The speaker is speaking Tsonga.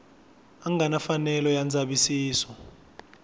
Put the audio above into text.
nga na mfanelo ya ndzavisiso